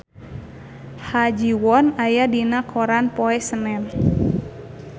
Ha Ji Won aya dina koran poe Senen